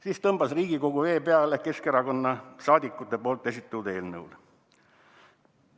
Siis tõmbas Riigikogu vee peale Keskerakonna saadikute esitatud eelnõule.